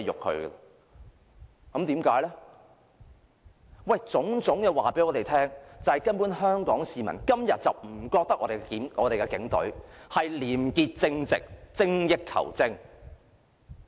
凡此種種告訴我們，今天香港市民根本不認為警隊是廉潔正直，精益求精。